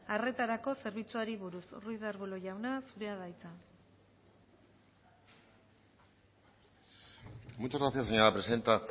arretarako zerbitzuari buruz ruiz de arbulo jauna zurea da hitza muchas gracias señora presidenta